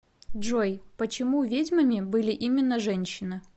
джой почему ведьмами были именно женщины